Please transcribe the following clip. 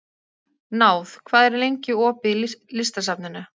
Náð, hvað er lengi opið í Listasafninu?